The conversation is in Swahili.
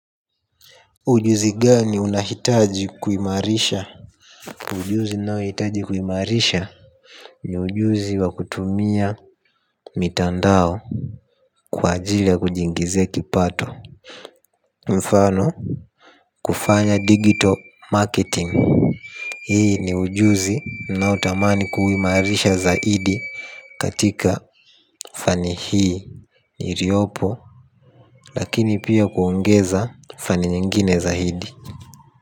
Ujuzi gani unahitaji kuimarisha. Ujuzi ni nao hitaji kuimarisha. Ni ujuzi wa kutumia mitandao kwa ajili ya kujingizia kipato. Mfano kufanya digital marketing. Hii ni ujuzi ninao tamani kuimarisha zaidi katika fani hii. Niliopo. Lakini pia kuongeza fani nyingine zaidi. Kwa hivyo.